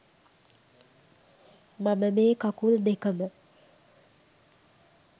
මම මේ කකුල් දෙකම